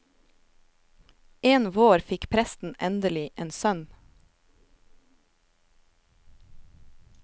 En vår fikk presten endelig en sønn.